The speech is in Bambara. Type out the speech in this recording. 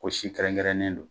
Ko si kɛrɛnkɛrɛnnen don.